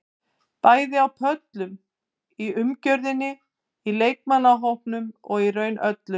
Bæði á pöllunum, í umgjörðinni, í leikmannahópnum og í raun öllu.